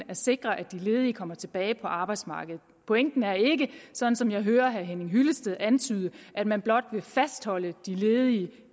at sikre at de ledige kommer tilbage på arbejdsmarkedet pointen er ikke som som jeg hører herre henning hyllested antyde at man blot vil fastholde de ledige